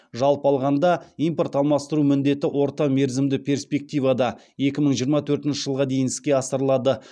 жалпы алғанда импорт алмастыру міндеті орта мерзімді перспективада екі мың жиырма төртінші жылға дейін іске асырылады